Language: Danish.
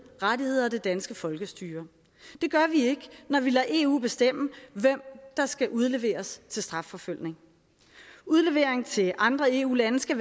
rettigheder og det danske folkestyre det gør vi ikke når vi lader eu bestemme hvem der skal udleveres til strafforfølgelse udlevering til andre eu lande skal